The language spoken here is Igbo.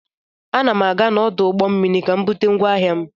Ana m aga n'ọdụ ụgbọ mmiri ka m bute ngwa ahịa m.